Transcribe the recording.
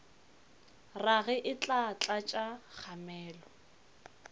rage e tla tlatša kgamelo